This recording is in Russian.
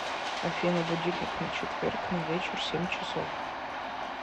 афина будильник на четверг на вечер семь часов